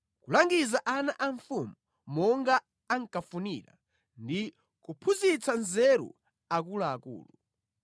kulangiza ana a mfumu monga ankafunira ndi kuphunzitsa nzeru akuluakulu.